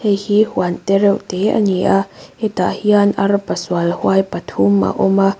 heihi huan tereuhte ani a hetah hian arpa sual huai pathum a awm a.